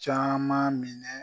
Caaman minɛ